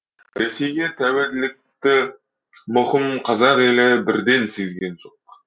ресейге тәуелділікті мұқым қазақ елі бірден сезген жоқ